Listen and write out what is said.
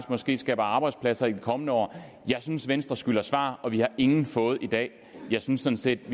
måske skaber arbejdspladser i de kommende år jeg synes venstre skylder svar og vi har ingen fået i dag jeg synes sådan set